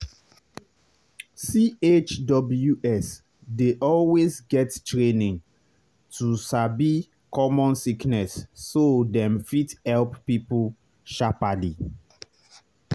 chws dey always get training to sabi common sickness so dem fit help people sharperly.